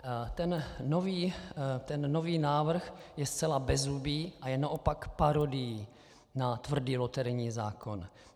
Ten nový návrh je zcela bezzubý a je naopak parodií na tvrdý loterijní zákon.